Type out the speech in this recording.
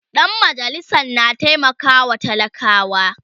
Dan majalisan na taimakawa talakawa